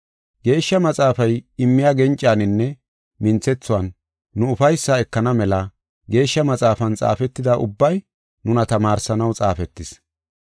Geeshsha Maxaafay immiya gencaninne minthethuwan nu ufaysaa ekana mela Geeshsha Maxaafan xaafetida ubbay nuna tamaarsanaw xaafetis.